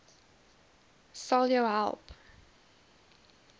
sal jou help